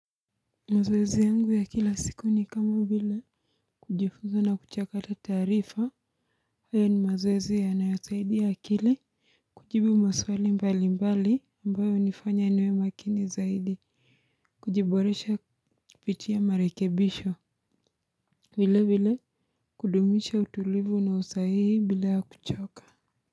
Mazoezi yangu ya kila siku ni kama vile kujifunza na kuchakata taarifa. Haya ni mazoezi yanayosaidia akili. Kujibu maswali mbalimbali ambao hunifanya niwemakini zaidi. Kujiboresha kupitia marekebisho. Vile vile. Kudumisha utulivu na usahihi bila ya kuchoka.